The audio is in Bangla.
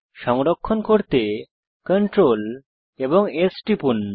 সংরক্ষণ করতে Ctrl এবং S টিপুন